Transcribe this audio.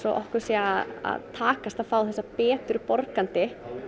okkur sé að takast að fá hingað betur borgandi